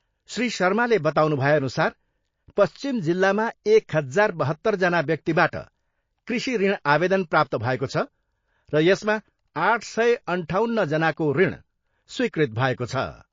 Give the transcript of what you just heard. श्री शर्माले बताउनु भएअनुसार, पश्चिम जिल्लामा एक हजार बहत्तरजना व्यक्तिबाट कृषि ऋण आवेदन प्राप्त भएको छ र यसमा आठ सय अन्ठाउन्नजनाको ऋण स्वीकृत भएको छ।